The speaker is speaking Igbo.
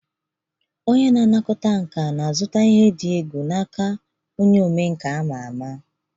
Onye na-anakọta nka na-azụta ihe dị egwu n'aka onye omenkà ama ama.